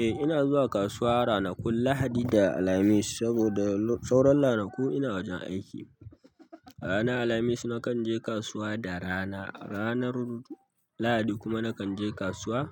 Eh ina zuwa kasuwa ranakun Lahadi da Alhamis saboda sauran ranaku ina wajen aiki. Ranar Alhamis na kan je kasuwa da rana, ranar Lahadi kuma na kan je kasuwa